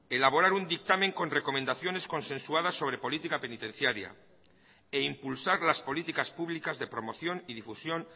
elaborar un dictamen con recomendaciones consensuadas sobre política penitenciaria e impulsar las políticas públicas de promoción y difusión